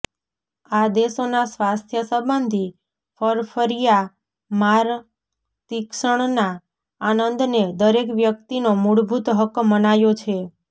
આ દેશોના સ્વાસ્થ્ય સંબંધિ ફરફરિયામાંરતિક્ષણના આનંદને દરેક વ્યક્તિનો મૂળભૂત હક્ક મનાયો છે